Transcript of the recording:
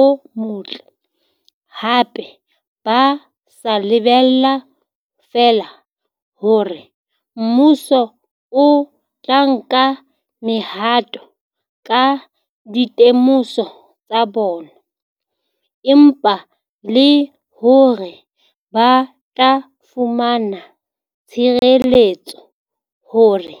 o motle, hape ba sa lebella feela hore mmuso o tla nka mehato ka dite moso tsa bona, empa le hore ba tla fumana tshireletso hore